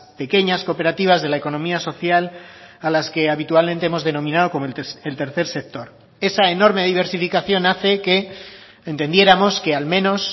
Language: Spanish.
pequeñas cooperativas de la economía social a las que habitualmente hemos denominado como el tercer sector esa enorme diversificación hace que entendiéramos que al menos